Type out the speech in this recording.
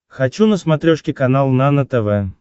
хочу на смотрешке канал нано тв